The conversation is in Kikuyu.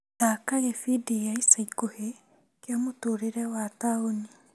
Thaka gĩbindi gĩa ica ikuhĩ kĩa mũtũrĩre wa taũni.